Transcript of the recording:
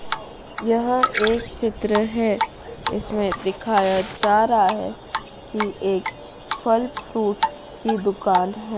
यह एक चित्र है जिसमें दिखाया जा रहा है कि एक फल फ्रूट की दुकान है।